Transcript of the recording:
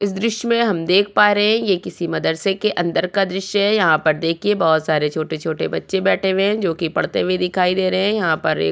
इस दृश्य में हम देख पा रहें ये किसी मदरसे के अन्दर का दृश्य है यहाँ पर देखिये बोहोत सारे छोटे-छोटे बच्चे बैठे हुए हैं जो की पढ़ते हुए दिखाई दे रहे हैं यहां पर एक --